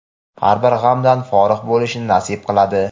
har bir g‘amdan forig‘ bo‘lishni nasib qiladi.